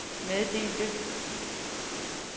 meddelte